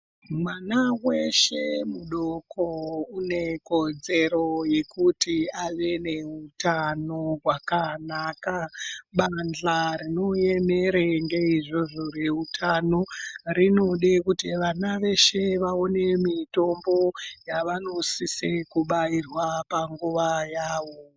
Mwana weshe mudoko unekodzero yekuti ave neutano wakanaka bahla rinoemere ngeizvozvo reutano rinoda kuti mwana weshe aone mutombo ravanosisa kubairwa panguwa yavo